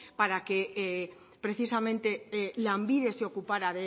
para que precisamente lanbide se ocupara